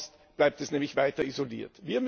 Sonst bleibt es nämlich weiter isoliert.